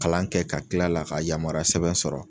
Kalan kɛ ka kil'a la, ka yamaruya sɛbɛn sɔrɔ.